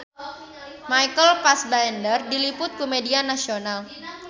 Michael Fassbender diliput ku media nasional